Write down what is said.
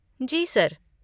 जी sir.